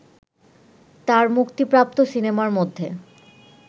তার মুক্তিপ্রাপ্ত সিনেমার মধ্যে